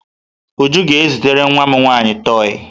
Uju ga-ezitere nwa m nwaanyị toi.